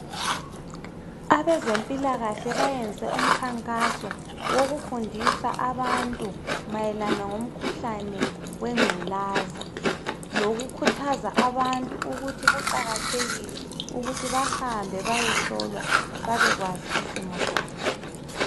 Abezempilakahle bayenze umkhankaso wokufundisa abantu mayelana ngumkhuhlane wengvulaza lokukhuthaza abantu ukuthi kuqakathekile bahambe bayehlolwa babekwazi isimo sabo